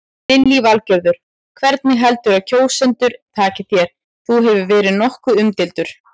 Lillý Valgerður: Hvernig heldurðu að kjósendur taki þér, þú hefur verið nokkuð umdeildur?